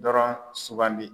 Dɔrɔn sugandi.